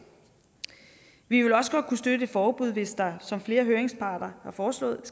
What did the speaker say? vi vil også godt kunne støtte et forbud hvis der som flere høringsparter har foreslået